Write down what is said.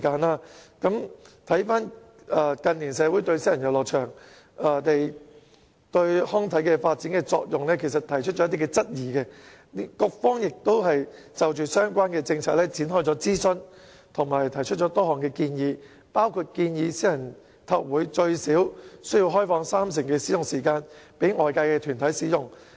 其實，近年社會對私人遊樂場對康體發展的作用提出了一些質疑，局方也就相關政策展開諮詢和提出多項建議，包括建議私人體育會最少要開放三成使用時間供外界團體使用。